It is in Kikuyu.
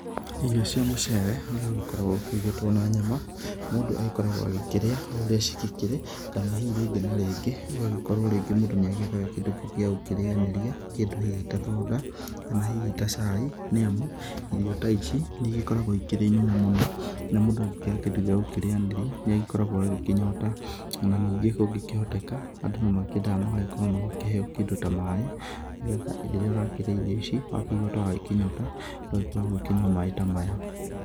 Irio cia mũcere ũrĩa ũgĩkoragwo ũkĩrugĩtwo na nyama, mũndũ agĩkoragwo agĩkĩrĩa ũrĩa cigĩkĩrĩ kana hihi rĩngĩ na rĩngĩ ũgagĩkorwo rĩngĩ mũndũ nĩ agĩethaga kĩndũ kĩngĩ gĩa gũkĩrĩanĩria, kĩndũ hihi ta thonda kana hihi ga cai. Nĩ amu irio ta ici nĩ igĩkoragwo ikĩrĩ nyũmũ mũno, na mũndũ angĩkĩaga kĩndũ gĩa gũkĩrĩanĩria nĩ agĩkoragwo agĩkĩnyota. Na ningĩ kũngĩhoteka andũ nĩ makĩendaga magagĩkorwo magĩkĩheo kĩndũ ta maaĩ. Nĩ getha rĩrĩa arakĩrĩa irio ici wakĩigua ta wakĩnyota ũgagĩkorwo ũgĩkĩnyua maaĩ ta maya.